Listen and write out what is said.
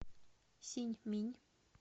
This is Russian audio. синьминь